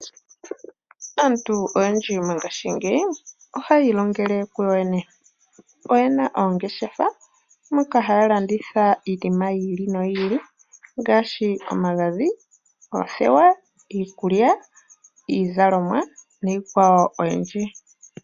Aantu oyendji mongashingeyi ohaya ilongele ku yoye ne. Oyena oongeshefa moka haa landitha iinima yi ili noyi ili ngaashi: omagadhi, oothewa, iikulya, iizalomwa niikwawo oyindji.